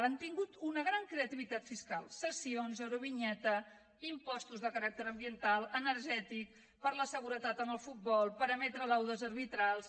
han tingut una gran creativitat fiscal cessions eurovinyeta impostos de caràcter ambiental energètic per la seguretat en el futbol per emetre laudes arbitrals